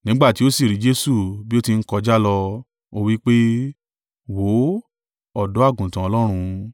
Nígbà tí ó sì rí Jesu bí ó ti ń kọjá lọ, ó wí pé, “Wò ó Ọ̀dọ́-àgùntàn Ọlọ́run!”